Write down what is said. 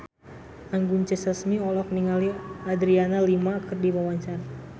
Anggun C. Sasmi olohok ningali Adriana Lima keur diwawancara